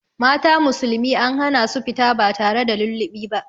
Mata musulmi an hana su fita ba tare da lullubi ba.